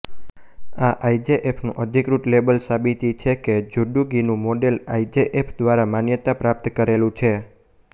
આ આઇજેએફનું અધિકૃત લેબલ સાબિતિ છે કે જુડોગીનું મોડેલ આઇજેએફ દ્વારા માન્યતા પ્રાપ્ત કરેલું છે